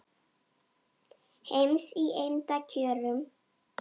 heims í eymda kjörum